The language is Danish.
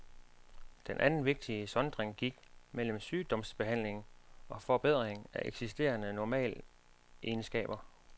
Den anden vigtige sondring gik mellem sygdomsbehandling og forbedring af eksisterende normalegenskaber.